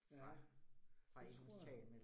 Ja, det tror jeg